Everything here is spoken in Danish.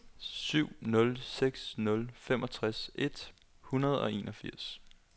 syv nul seks nul femogtres et hundrede og enogfirs